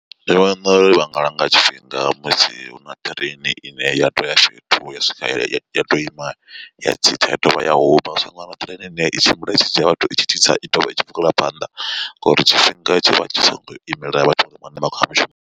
Ndi vhona uri vha ngalanga tshifhinga musi huna ṱireini ine ya to ya fhethu ya swika ya to ima ya tsitsa ya dovha ya huma. Hu songo vha na ṱireini ine i tshimbila i tshi dzhia vhathu i tshi tsitsa i tovha i tshi bvela phanḓa ngori tshifhinga tshi vha tshi songo imela vhathu vhane vha khou ya mushumoni.